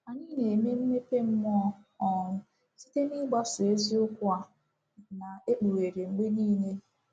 Anyị na-eme mmepe mmụọ um site n’ịgbaso eziokwu a na-ekpughere mgbe niile.